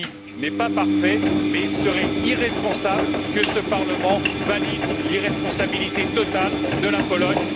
Davies n'est pas parfait, mais il serait irresponsable que ce Parlement valide l'irresponsabilité totale de la Pologne.